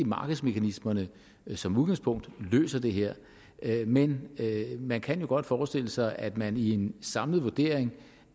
markedsmekanismerne som udgangspunkt løser det her men man kan jo godt forestille sig at man i en samlet vurdering